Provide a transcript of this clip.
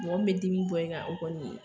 Mɔgɔ min bɛ dimi bɔ in kan o kɔni